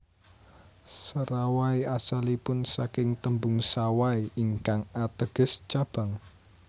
Serawai asalipun saking tembung Sawai ingkang ateges cabang